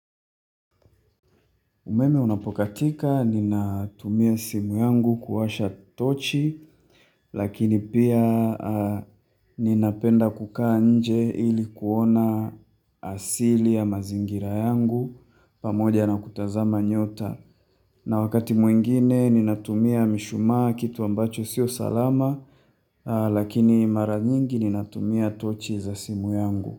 Umeme unapokatika, ninatumia simu yangu kuwasha tochi, lakini pia ninapenda kukaa nje ili kuona asili ya mazingira yangu, pamoja na kutazama nyota. Na wakati mwingine, ninatumia mishumaa kitu ambacho sio salama, lakini mara nyingi ninatumia tochi za simu yangu.